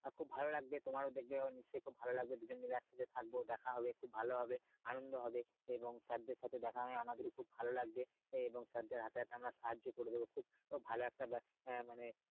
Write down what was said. খুব ভালো লাগবে তোমারও দেখবে হয়ত নিশ্চই খুব ভালো লাগবে দুজন মিলে একসাথে থাকবো দেখা হবে খুব ভালো হবে আনন্দ হবে এবং sir দেড় সাথে দেখা হয়ে আমার খুব ভালো লাগবে আহ এবং sir দেড় হাতে হাতে আমরা সাহায্য করবো ভালো একটা ব্যাপার আহ মানে